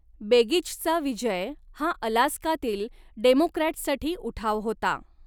बेगिचचा विजय हा अलास्कातील डेमोक्रॅट्ससाठी उठाव होता.